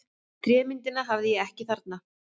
Trémyndina hafði ég ekki þarna.